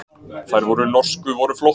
Þær norsku voru flottar.